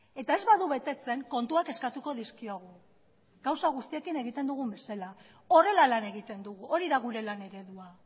eta ez badu betetzen kontuak eskatuko dizkiogu gauza guztiekin egiten dugun bezala horrela lan egiten dugu hori da gure lan eredua